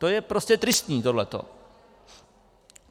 To je prostě tristní, tohleto.